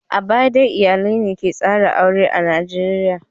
A baya dai iyalai ne ke tsara aure a Najeriya.